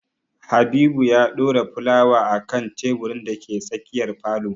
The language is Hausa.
Habibu ya ɗora fulawa a kan teburin da ke tsakiyar falo